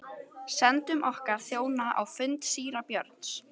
Sendum okkar þjóna á fund síra Björns.